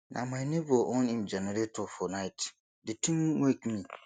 na my nebor on im generator for night di tin wake me